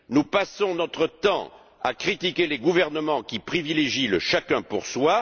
Nous passons notre temps à critiquer les gouvernements qui privilégient le chacun pour soi.